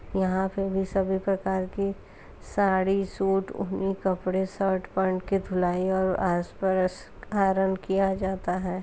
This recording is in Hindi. यहाँ पे भी सभी प्रकार क साड़ी सूट ऊनी कपड़े शर्ट पेंट की धुलाई और आसपास आयरन किया जाता है।